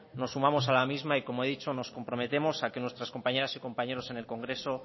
nos sumamos a la misma y como he dicho nos comprometemos a que nuestras compañeras y compañeros en el congreso